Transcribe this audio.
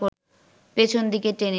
পেছন দিকে টেনে